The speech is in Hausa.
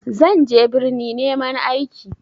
Zan je birni neman aiki.